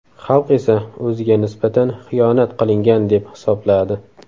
Xalq esa o‘ziga nisbatan xiyonat qilingan deb hisobladi.